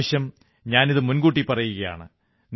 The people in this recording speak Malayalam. ഇപ്രാവശ്യം ഞാനിതു മുൻകൂട്ടി പറയുകയാണ്